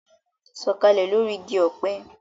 Sọ̀kalẹ̀ lórí igi ọ̀pẹ